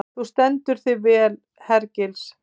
Þú stendur þig vel, Hergils!